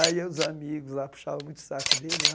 Aí os amigos lá puxavam muito o saco dele.